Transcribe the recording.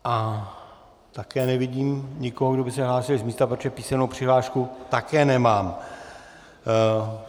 Ale také nevidím nikoho, kdo by se hlásil z místa, protože písemnou přihlášku také nemám.